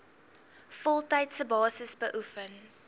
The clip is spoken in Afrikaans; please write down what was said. voltydse basis beoefen